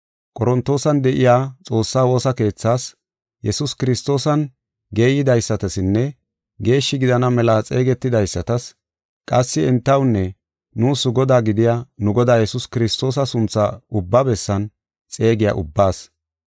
Qorontoosan de7iya Xoossa woosa keethaas, Yesuus Kiristoosan geeydaysatasinne geeshshi gidana mela xeegetidaysatas; qassi entawunne nuus Godaa gidiya nu Godaa Yesuus Kiristoosa suntha ubba bessan xeegiya ubbaas.